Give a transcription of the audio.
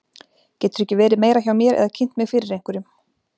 Geturðu ekki verið meira hjá mér eða kynnt mig fyrir einhverjum.